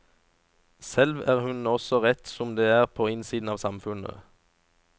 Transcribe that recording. Selv er hun også rett som det er på innsiden av samfunnet.